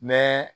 Mɛ